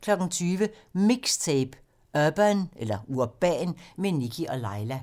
20:00: MIXTAPE - Urban med Nikkie & Laila